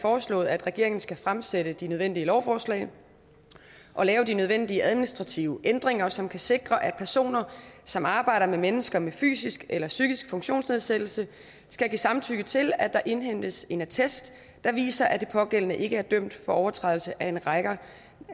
foreslået at regeringen skal fremsætte de nødvendige lovforslag og lave de nødvendige administrative ændringer som kan sikre at personer som arbejder med mennesker med fysisk eller psykisk funktionsnedsættelse skal give samtykke til at der indhentes en attest der viser at de pågældende ikke er dømt for overtrædelse af en række